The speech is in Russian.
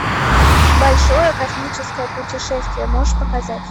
большое космическое путешествие можешь показать